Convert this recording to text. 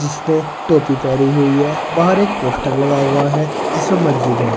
इसने टोपी पहनी हुई है बाहर एक पोस्टर लगा हुआ है जिसमें मस्जिद है।